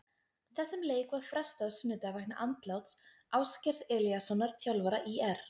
Þessum leik var frestað á sunnudag vegna andláts Ásgeirs Elíassonar þjálfara ÍR.